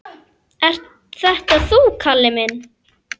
Ert þetta þú, Kalli minn!